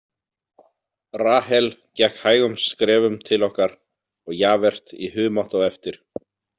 Rahel gekk hægum skrefum til okkar og Javert í humátt á eftir.